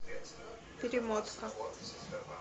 перемотка